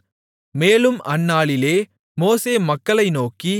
மேலும் அந்நாளிலே மோசே மக்களை நோக்கி